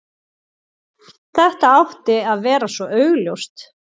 Þetta átti að vera svo augljóst.